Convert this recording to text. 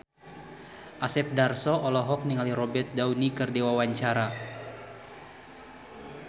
Asep Darso olohok ningali Robert Downey keur diwawancara